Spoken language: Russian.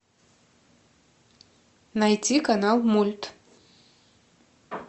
найти канал мульт